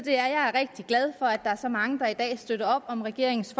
er rigtig glad for at der er så mange der i dag støtter op om regeringens